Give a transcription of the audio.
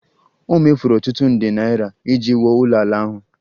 O mefuru ọtụtụ nde naira iji wuo ụlọala ahụ